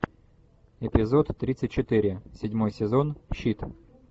эпизод тридцать четыре седьмой сезон щит